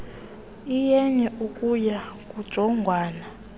iyenye ekuya kujongwana